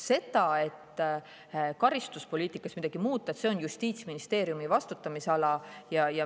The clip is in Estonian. Kas karistuspoliitikas midagi muuta – see on Justiitsministeeriumi vastutusala.